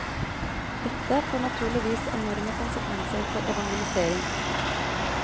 Dette får naturligvis enorme konsekvenser for evangelisering.